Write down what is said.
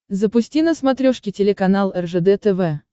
запусти на смотрешке телеканал ржд тв